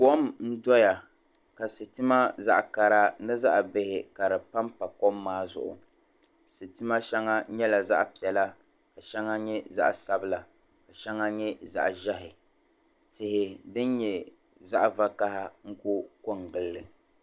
Kom n doya ka sitima zaɣ kara ni zaɣ bihi ka di panpa kom maa zuɣu sitima shɛŋa nyɛla zaɣ piɛla la shɛŋa nyɛ zaɣ sabila ka shɛŋa nyɛ zaɣ ʒiɛhi tihi din nyɛ zaɣ vakaɣa n ku ko n gilli